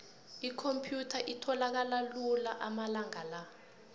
ikhomphyutha itholakala lula amalanga la